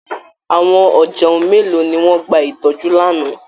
Àwọn ọ̀jẹun mélòó ni wọ́n gba ìtọ́jú lánàá!